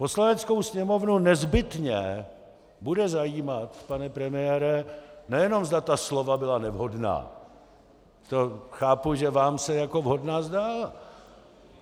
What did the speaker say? Poslaneckou sněmovnu nezbytně bude zajímat, pane premiére, nejenom zda ta slova byla nevhodná, to chápu, že vám se jako vhodná zdá.